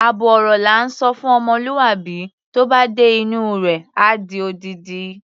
Àbọ̀ ọ̀rọ̀ la ńsọ fún ọmọlúwàbí, tó bá dé inú u rẹ̀, á di odindi.